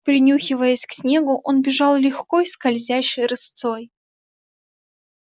принюхиваясь к снегу он бежал легко и скользящей рысцой